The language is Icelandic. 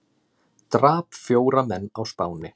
Drap fjóra menn á Spáni